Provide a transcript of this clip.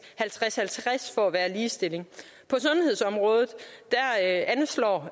halvtreds halvtreds for at være ligestilling på sundhedsområdet anslår